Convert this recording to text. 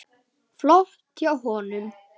Flott hjá honum.